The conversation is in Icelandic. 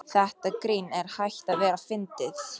Þetta grín er hætt að vera fyndið.